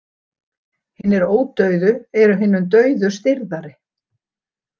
Hinir ódauðu eru hinum dauðu stirðari.